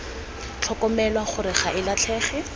tlhokomelwa gore ga e latlhege